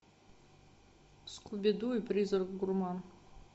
скуби ду и призрак гурман